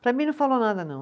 Para mim, não falou nada, não.